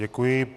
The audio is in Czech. Děkuji.